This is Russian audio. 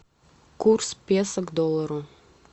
курс песо к доллару